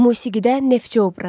Musiqidə Neftçi obrazı.